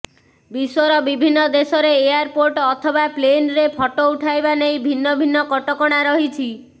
ବିଶ୍ୱର ବିଭିନ୍ନ ଦେଶରେ ଏୟାରପୋର୍ଟ ଅଥବା ପ୍ଲେନରେ ଫଟୋ ଉଠାଇବା ନେଇ ଭିନ୍ନ ଭିନ୍ନ କଟକଣା ରହିଛି